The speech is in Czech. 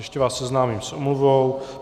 Ještě vás seznámím s omluvou.